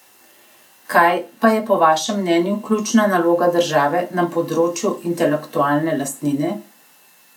Kaj pa je po vašem mnenju ključna naloga države na področju intelektualne lastnine?